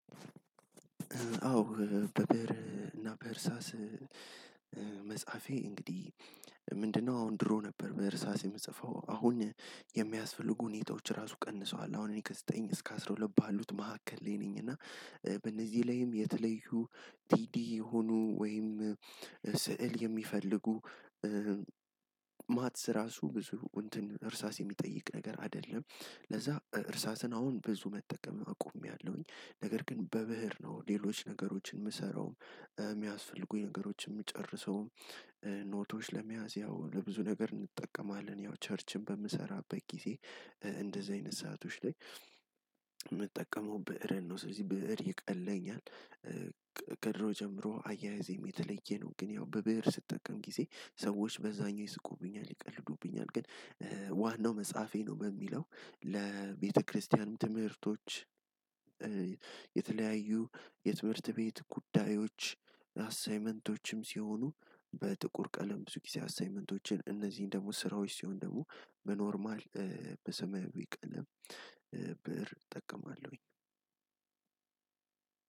አዎ በብእር እና በእርሳስ መጽሐፌ እንግዲህ ምንድነው አሁን ድሮ ነበር። በእርሳስ የምጽፈው አሁን የሚያስፈልጉ ሁኔታዎች ራሱ ቀንሰዋል። አሁን እኔ ከዘጠኝ እስከ አስራ ሁለት ባሉት መካከል ላይ ነኝ። እና በእነዚህ ላይም የተለዩ ቲዲ የሆኑ ወይም ስዕል የሚፈልጉ። ማትስ ራሱ ብዙ እንትን እርሳስ የሚጠይቅ ነገር አይደለም። ለዛ እርሳስን አሁን ብዙ መጠቀም አቁመያለው። ነገር ግን በብእር ነው ሌሎች ነገሮችን የምሰራው የሚያስፈልጉ ነገሮችን የምጨርሰው። ኖቶች ለመያዝ ያው ለብዙ ነገር እንጠቀማለን ያው ቸርችም በምሰራበት ጊዜ እንደዚህ አይነት ሰአቶች ላይ። ብእርን ነው ስለዚህ ብእር ይቀለኛል። ከድሮ ጀምሮ አያያዜም የተለየ ነው። ግን ያው በብእር ስጠቀም ጊዜ ሰዎች በዛኛው ይስቁብኛል ይቀልዱብኛል ግን። ዋናው መጽሐፌ ነው በሚለው ለቤተክርስቲያንም ትምህርቶች። የተለያዩ የትምህርት ቤት ጉዳዮች አሳይመንቶችም ሲሆኑ በጥቁር ቀለም ብዙ ጊዜ አሳይመንቶችን እነዚህን ደግሞ ስራዎች ሲሆን ደግሞ በኖርማል በሰማያዊ ቀለም ብእር እጠቀማለሁኝ።